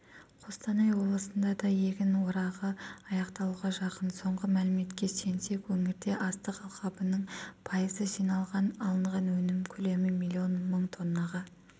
қостанай облысында да егін орағы аяқталуға жақын соңғы мәліметке сүйенсек өңірде астық алқабының пайызы жиналған алынған өнім көлемі миллион мың тоннаға